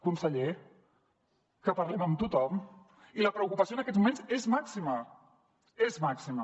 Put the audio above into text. conseller que parlem amb tothom i la preocupació en aquests moments és màxima és màxima